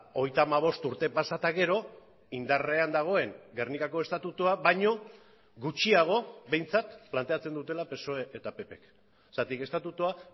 hogeita hamabost urte pasa eta gero indarrean dagoen gernikako estatutua baino gutxiago behintzat planteatzen dutela psoe eta ppk zergatik estatutua